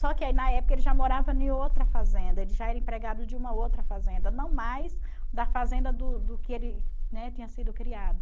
Só que aí na época ele já morava em outra fazenda, ele já era empregado de uma outra fazenda, não mais da fazenda do do que ele, né, tinha sido criado.